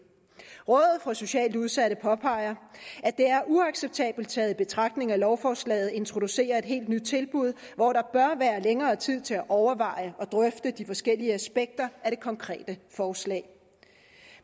rådet for socialt udsatte påpeger at det er uacceptabelt taget i betragtning at lovforslaget introducerer et helt nyt tilbud hvor der bør være længere tid til at overveje og drøfte de forskellige aspekter af det konkrete forslag